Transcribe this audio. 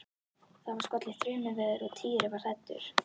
Það var skollið á þrumuveður og Týri var hræddur.